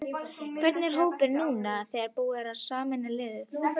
Hvernig er hópurinn núna þegar búið er að sameina liðin?